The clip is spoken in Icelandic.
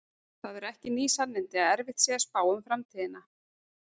Það eru ekki ný sannindi að erfitt sé að spá um framtíðina.